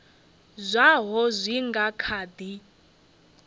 zwaho zwi nga kha di